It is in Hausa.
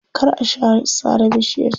Kar a sare bishiyar can.